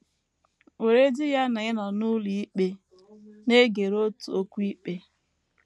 Weredị ya na ị nọ n’ụlọikpe, na - egere otu okwu ikpe.